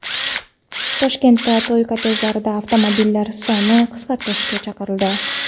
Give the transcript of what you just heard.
Toshkentda to‘y kortejidagi avtomobillar sonini qisqartirishga chaqirildi.